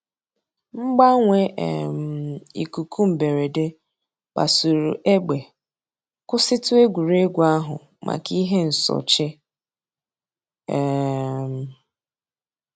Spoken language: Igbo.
Mgbanwe um íkúkụ̀ mbèrèdè kpasùrù ègbè, kwụsị̀tù ègwè́ré́gwụ̀ àhụ̀ mǎká íhè nsòché. um